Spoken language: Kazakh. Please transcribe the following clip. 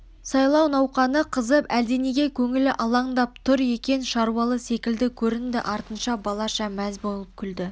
сайлау науқаны қызып әлденеге көңілі алаңдап тұр екен шаршаулы секілді көрінді артынша балаша мәз болып күлді